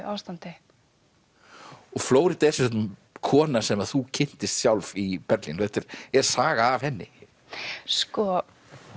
ástandi Flórída er kona sem þú kynntist sjálf í Berlín þetta er er saga af henni sko